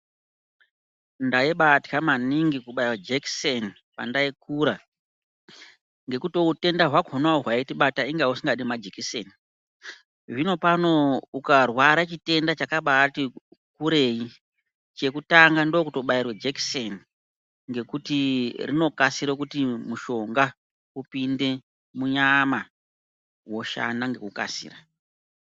Ndaibatya maningi kubaiwa jekiseni pandaikura ngekutiwo hutenda hwakonawo hwaitibata inga husingadi majekiseni zvinopano ukarwara chitenda chakabati kure chekutanga ndokutobairwe jekiseni ngekuti rinokasire kuti mushonga upinde munyama hoshana nekukasira.